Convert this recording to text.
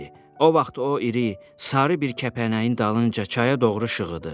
O vaxt o iri, sarı bir kəpənəyin dalınca çaya doğru şığıdı.